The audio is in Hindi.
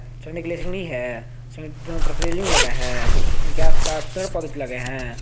पिक्चर में एक है जिसके दोनों तरफ रेलिंग लगी हैं उनके आसपास पेड़ पौधे लगे हैं।